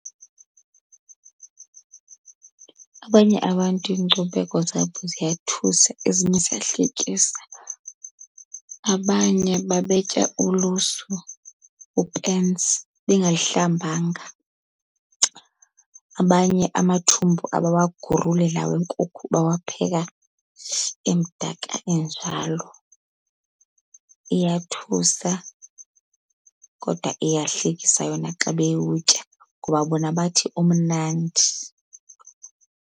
Abanye abantu iinkcubeko zabo ziyathusa ezinye ziyahlekisa. Abanye babetya ulusu, upensi, bengayihlambanga. Abanye amathumbu abawaguruli laa wenkukhu bawapheka emdaka enjalo. Iyathusa kodwa iyahlekisa yona xa bewutya ngoba bona bathi umnandi.